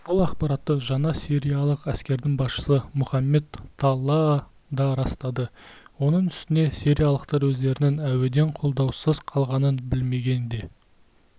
бұл ақпаратты жаңа сириялық әскердің басшысы мұхаммед таллаа да растады оның үстіне сириялықтар өздерінің әуеден қолдаусыз қалғанын білмеген де